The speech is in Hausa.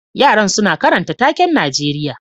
Yaran suna karanta taken Najeriya